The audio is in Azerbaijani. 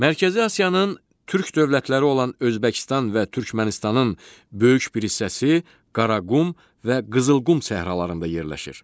Mərkəzi Asiyanın türk dövlətləri olan Özbəkistan və Türkmənistanın böyük bir hissəsi Qaraqum və Qızılqum səhralarında yerləşir.